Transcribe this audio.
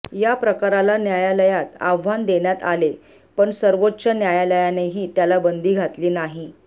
या प्रकाराला न्यायालयात आव्हान देण्यात आले पण सर्वोच्च न्यायालयानेही त्याला बंदी घातली नाही